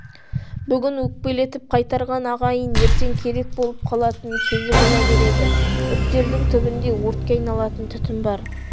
бүгін өкпелетіп қайтарған ағайын ертең керек болып қалатын кезі бола береді үптердің түбінде өртке айналатын түтін бар